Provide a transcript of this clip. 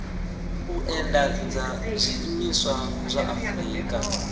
u endedza zwiimiswa zwa afurika